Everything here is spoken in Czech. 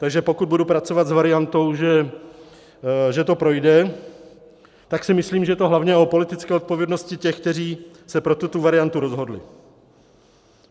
Takže pokud budu pracovat s variantou, že to projde, tak si myslím, že to je hlavně o politické odpovědnosti těch, kteří se pro tuto variantu rozhodli.